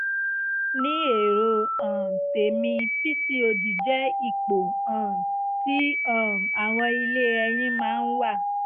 ní èrò um tèmi pcod jẹ́ ipò um tí um àwọn ilé ẹyin máa ń wà